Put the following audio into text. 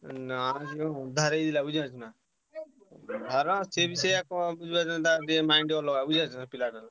ନା ଯୋଉ ଅନ୍ଧାର ହେଇଥିଲା ବୁଝିପାରୁଛନା, ଅନ୍ଧାର ସିଏ ବି ସେୟା କ୍ ବୁଝିପାରୁଛନା ତାର ଟିକେ mind ଅଲଗା ବୁଝିପାରୁଛ ସେ ପିଲାଟାର।